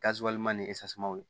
ni w